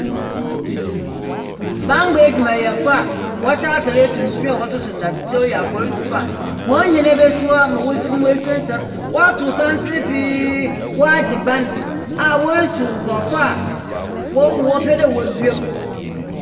Bambɔ edwumayɛfo a wɔhyɛ atar tuntum a wɔsoso ndadzekyɛw yi yɛ apolisifo a hɔn hɛn ebesi hɔ ma wofi mu esiansian wɔatow santsen pii, wɔage ban a worisiw nkorɔfo a wɔ wɔpɛ dɛ wodua mu.